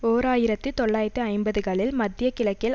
ஓர் ஆயிரத்தி தொள்ளாயிரத்து ஐம்பதுகளில் மத்திய கிழக்கில்